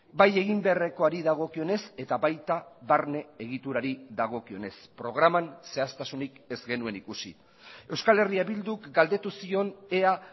bai egin beharrekoari dagokionez eta baita barne egiturari dagokionez programan zehaztasunik ez genuen ikusi euskal herria bilduk galdetu zion ea